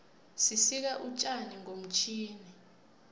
sisika utjani ngomtjhini